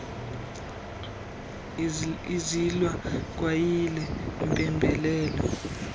izalwa kwayile mpembelelo